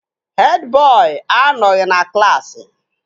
Hed bọị anọghị na klaasị